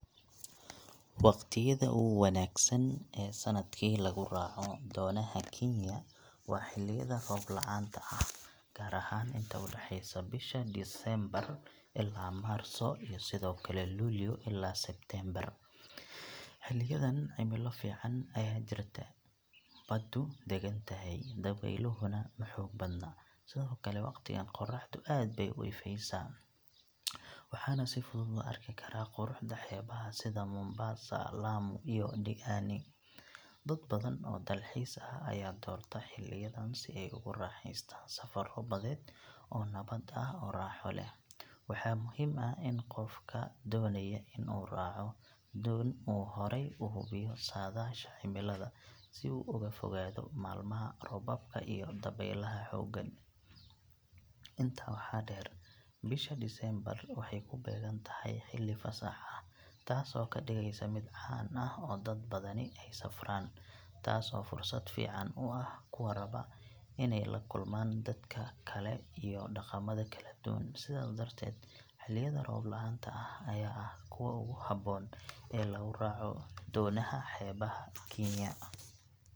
Waqtiyada ugu wanaagsan ee sanadkii lagu raaco doonaha Kenya waa xilliyada roob la’aanta ah, gaar ahaan inta u dhexeysa bisha Diseembar ilaa Maarso iyo sidoo kale Luulyo ilaa Sebteembar. Xilliyadan cimilo fiican ayaa jirta, baddu degan tahay, dabeyluhuna ma xoog badna. Sidoo kale, waqtigan qoraxdu aad bay u ifaysaa, waxaana si fudud loo arki karaa quruxda xeebaha sida Mombasa, Lamu iyo Diani. Dad badan oo dalxiis ah ayaa doorta xilliyadan si ay ugu raaxaystaan safarro badeed oo nabad ah oo raaxo leh. Waxaa muhiim ah in qofka doonaya inuu raaco doon uu horay u hubiyo saadaasha cimilada si uu uga fogaado maalmaha roobabka iyo dabeylaha xooggan. Intaa waxaa dheer, bisha Diseembar waxay ku beegan tahay xilli fasax ah, taas oo ka dhigaysa mid caan ah oo dad badani ay safraan, taas oo fursad fiican u ah kuwa raba inay la kulmaan dadka kale iyo dhaqamada kala duwan. Sidaas darteed, xilliyada roob la’aanta ah ayaa ah kuwa ugu habboon ee lagu raaco doonaha xeebaha Kenya.